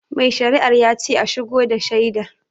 Mai shari'ar yace a shigo da shaidar